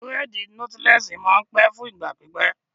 Bírèèdì nọ́tílẹ́ẹ̀sì máa n pẹ́ fún ìgbà pípẹ́